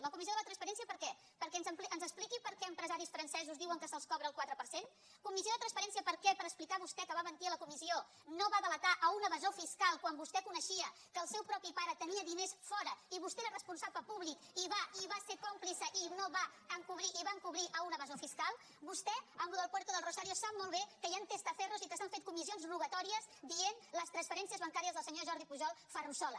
la comissió de la transparència per què perquè ens expliqui per què empresaris francesos diuen que se’ls cobra el quatre per cent comissió de transparència per què per explicar vostè que va mentir a la comissió no va delatar un evasor fiscal quan vostè coneixia que el seu propi pare tenia diners fora i vostè era responsable públic i va ser còmplice i va encobrir un evasor fiscal vostè amb això del puerto de rosario sap molt bé que hi han testaferros i que s’han fet comissions rogatòries dient les transferències bancàries del senyor jordi pujol ferrusola